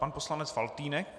Pan poslanec Faltýnek.